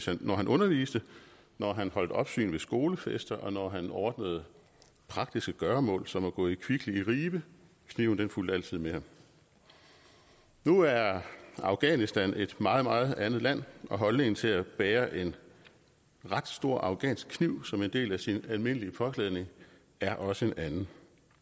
han når han underviste når han holdt opsyn ved skolefester og når han ordnede praktiske gøremål som at gå i kvickly i ribe kniven fulgte altid med ham nu er afghanistan et meget meget andet land og holdningen til at bære en ret stor afghansk kniv som en del af sin almindelige påklædning er også en anden